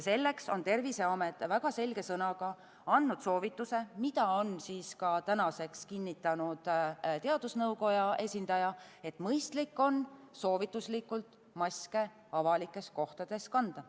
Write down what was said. Selleks on Terviseamet väga selge sõnaga andnud soovituse, mida on ka tänaseks kinnitanud teadusnõukoja esindaja, et mõistlik on – soovituslikult – maske avalikes kohtades kanda.